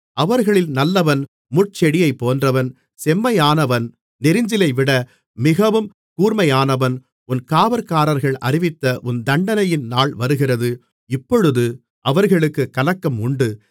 அவர்களில் நல்லவன் முட்செடியைப்போன்றவன் செம்மையானவன் நெரிஞ்சிலைவிட மிகவும் கூர்மையானவன் உன் காவற்காரர்கள் அறிவித்த உன் தண்டனையின் நாள் வருகிறது இப்பொழுதே அவர்களுக்குக் கலக்கம் உண்டு